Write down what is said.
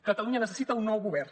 catalunya necessita un nou govern